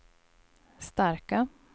starka